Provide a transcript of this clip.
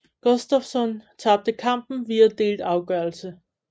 Gustafsson tabtte kampen via delt afgørelse